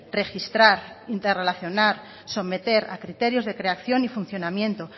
registrar interrelacionar someter a criterios de creación y funcionamiento